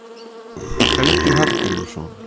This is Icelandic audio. Helgi Hallgrímsson.